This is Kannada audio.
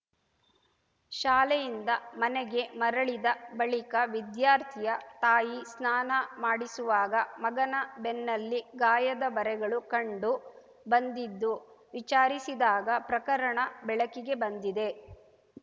ಶಾಲೆಯಿಂದ ಮನೆಗೆ ಮರಳಿದ ಬಳಿಕ ವಿದ್ಯಾರ್ಥಿಯ ತಾಯಿ ಸ್ನಾನ ಮಾಡಿಸುವಾಗ ಮಗನ ಬೆನ್ನಲ್ಲಿ ಗಾಯದ ಬರೆಗಳು ಕಂಡು ಬಂದಿದ್ದು ವಿಚಾರಿಸಿದಾಗ ಪ್ರಕರಣ ಬೆಳಕಿಗೆ ಬಂದಿದೆ